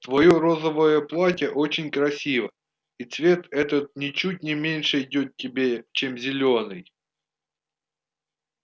твоё розовое платье очень красиво и цвет этот ничуть не меньше идёт тебе чем зелёный